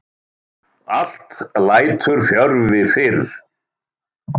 Allt lætur fjörvi fyrr.